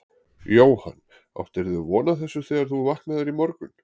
Jóhann: Áttirðu von á þessu þegar þú vaknaðir í morgun?